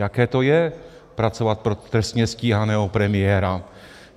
Jaké to je pracovat pro trestně stíhaného premiéra?